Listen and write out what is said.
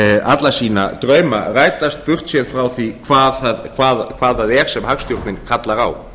alla sína drauma rætast burtséð frá því hvað það er sem hagstjórnin kallar á